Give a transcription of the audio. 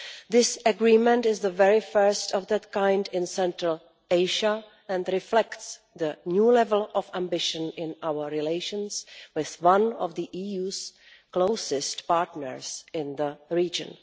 This Agreement is the very first of this kind in Central Asia and reflects the new level of ambition in our relations with one of the EU's closest partners in the region.